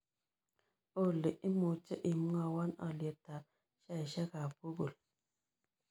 Olly imuche imwawon alyetap sheaisiekab google